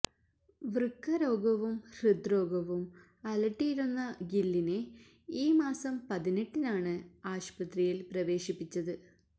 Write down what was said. വൃക്ക രോഗവും ഹൃദ്രോഗവും അലട്ടിയിരുന്ന ഗില്ലിനെ ഈ മാസം പതിനെട്ടിനാണ് ആശുപത്രിയില് പ്രവേശിപ്പിച്ചത്